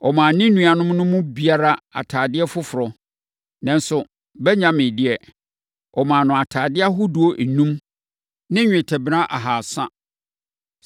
Ɔmaa ne nuanom no mu biara atadeɛ foforɔ, nanso Benyamin deɛ, ɔmaa no ntadeɛ ahodoɔ enum ne dwetɛ kilogram mmiɛnsa ne fa.